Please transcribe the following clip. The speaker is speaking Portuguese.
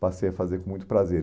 passei a fazer com muito prazer.